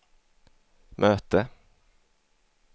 möte